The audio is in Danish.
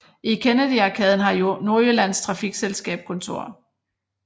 I Kennedy Arkaden har Nordjyllands Trafikselselskab kontor